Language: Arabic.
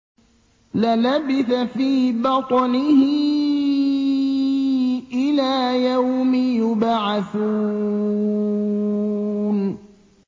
لَلَبِثَ فِي بَطْنِهِ إِلَىٰ يَوْمِ يُبْعَثُونَ